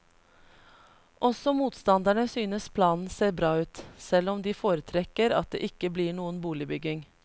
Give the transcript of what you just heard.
Også motstanderne synes planen ser bra ut, selv om de foretrekker at det ikke blir noen boligbygging.